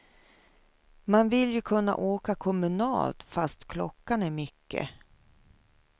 Man vill ju kunna åka kommunalt fast klockan är mycket.